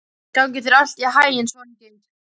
Gangi þér allt í haginn, Svangeir.